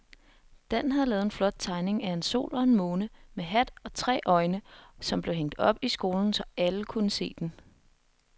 Dan havde lavet en flot tegning af en sol og en måne med hat og tre øjne, som blev hængt op i skolen, så alle kunne se den.